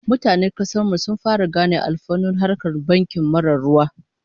Mutanen kasar mu sun fara gane alfanun harkar banki marar ruwa